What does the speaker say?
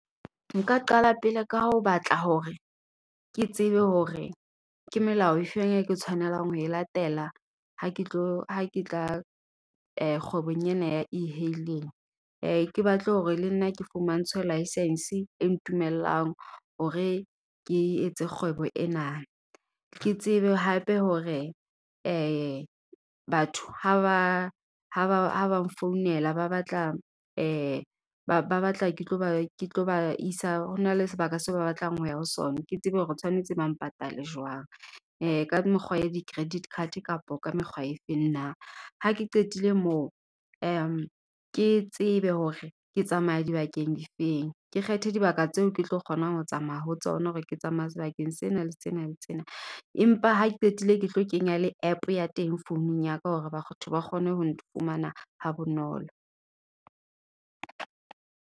Nka qala pele ka ho batla hore, ke tsebe hore ke melao e feng e ke tshwanelang ho e latela, ha ke tlo ha ke tla kgwebong ena ya e-hailing. Ke batle hore le nna ke fumantshwe licence, e ntumellang hore ke etse kgwebo ena. Ke tsebe hape hore batho, ha ba ha ba nfounela ba batla, ba ba batla ke tlo ba isa ho na le sebaka seo ba batlang ho ya ho sona. Ke tsebe hore tshwanetse ba mpatale Jwang. Ka mekgwa ya di-credit card kapa ka mekgwa e feng na. Ha ke qetile moo ke tsebe hore ke tsamaya di bakeng di feng. Ke kgethe dibaka tseo ke tlo kgonang ho tsamaya ho tsona. Hore ke tsamaya sebakeng sena, le sena, le sena. Empa ha ke qetile ke tlo kenya le app ya teng founung ya ka, hore batho ba kgone ho nfumana ha bonolo.